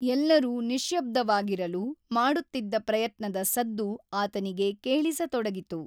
ಎಲ್ಲರೂ ನಿಶ್ಯಬ್ದವಾಗಿರಲು ಮಾಡುತ್ತಿದ್ದ ಪ್ರಯತ್ನದ ಸದ್ದು ಆತನಿಗೆ ಕೇಳಿಸತೊಡಗಿತು.